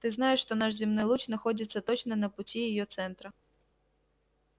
ты знаешь что наш земной луч находится точно на пути её центра